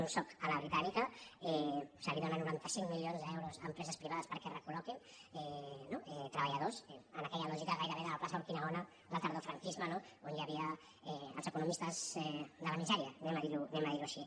un soc a la britànica se’ls dóna noranta cinc milions d’euros a empreses privades perquè recol·loquin treballadors en aquella lògica gairebé de la plaça urquinaona del tardofranquisme no on hi havia els economistes de la misèria diguem·ho així